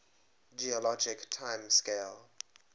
geologic time scale